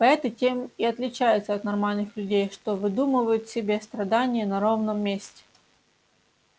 поэты тем и отличаются от нормальных людей что выдумывают себе страдания на ровном месте